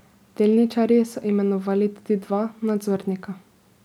Delničarji so imenovali tudi dva nadzornika.